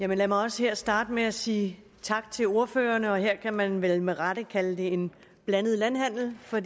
lad mig også her starte med at sige tak til ordførerne her kan man vel med rette kalde det en blandet landhandel for